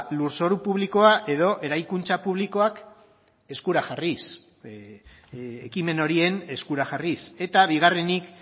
lurzoru publikoa edo eraikuntza publikoak eskura jarriz ekimen horien eskura jarriz eta bigarrenik